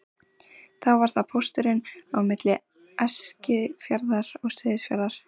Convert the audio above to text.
Þá var það pósturinn á milli Eskifjarðar og Seyðisfjarðar.